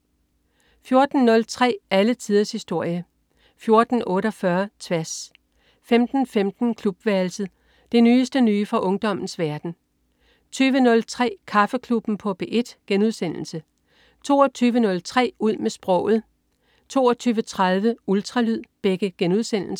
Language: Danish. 14.03 Alle tiders historie 14.48 Tværs* 15.15 Klubværelset. Det nyeste nye fra ungdommens verden 20.03 Kaffeklubben på P1* 22.03 Ud med sproget* 22.30 Ultralyd*